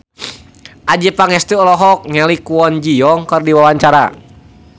Adjie Pangestu olohok ningali Kwon Ji Yong keur diwawancara